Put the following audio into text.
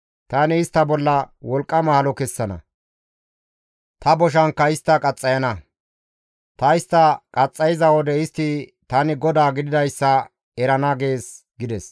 Tani istta bolla wolqqama halo kessana; ta boshankka istta qaxxayana; ta istta qaxxayiza wode istti tani GODAA gididayssa erana› gees» gides.